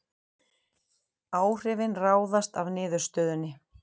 Áhrifin ráðast af niðurstöðunni